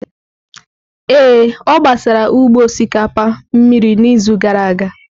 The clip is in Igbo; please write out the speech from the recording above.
Ee, ọ gbara ugbo osikapa mmiri n'izu gara aga.